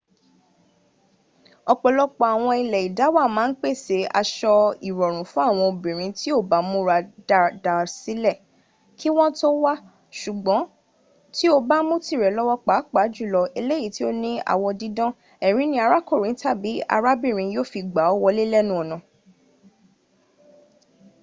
ọ̀pọ̀lọpọ̀ àwọn ilẹ́ ìdáwà máà n pẹ̀sẹ̀ asọ ìrọ̀rùn fún àwọn obìnrin tí o ba mùra dada sìlẹ ki wọn tọ wá sùgbọn ti o bá mú tirẹ lọwọ paapaa julọ eyi to ni awọ didan ẹrin in arakunrin tabi arabinrin yo fi gba ọ wole lẹnu ọna